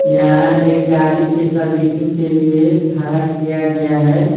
यहां एक गाड़ी के सर्विसिंग के लिए खड़ा किया गया है।